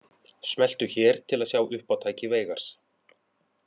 Smelltu hér til að sjá uppátæki Veigars